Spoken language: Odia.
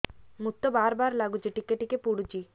ମୁତ ବାର୍ ବାର୍ ଲାଗୁଚି ଟିକେ ଟିକେ ପୁଡୁଚି